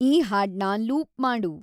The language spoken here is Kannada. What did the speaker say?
ಈ ಹಾಡ್ನ ಲೂಪ್‌ ಮಾಡು